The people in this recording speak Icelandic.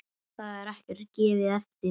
Þar er ekkert gefið eftir.